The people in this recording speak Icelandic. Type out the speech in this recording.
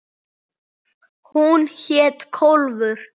Hún hét Kólfur.